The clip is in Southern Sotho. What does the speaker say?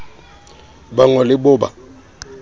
ba ngo le cbo ba